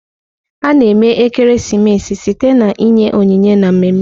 A-na eme ekeresimesi site na inye onyinye na mmemme.